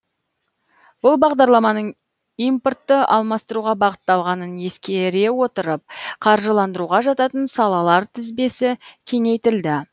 бұл бағдарламаның импортты алмастыруға бағытталғанын ескере отырып қаржыландыруға жататын салалар тізбесі кеңейтілді